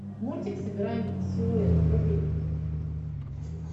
мультик собираем силуэт вруби